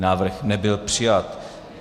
Návrh nebyl přijat.